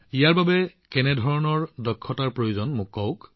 ইয়াৰ বাবে কেনেধৰণৰ দক্ষতাৰ প্ৰয়োজন হয় আপুনি কওক